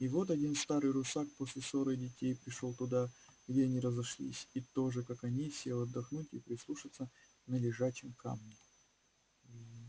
и вот один старый русак после ссоры детей пришёл туда где они разошлись и тоже как они сел отдохнуть и прислушаться на лежачем камне